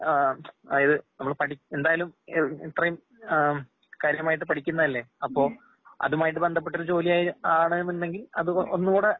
ആഹ് അഇത് നമ്മള് പഠി എന്തായാലും ഇത്രേം ആം കാര്യമായിട്ട് പഠിക്കുന്നയല്ലെ അപ്പോ അതുമായിട്ട്ബന്ധപ്പെട്ടൊരു ജോലിയായി ജോലിയാണേന്നുണ്ടെങ്കി അത് ഒന്നൂടെ